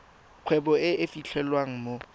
kgwebo e e fitlhelwang mo